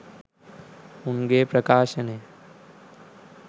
උන්ගේ ප්‍රකාශනය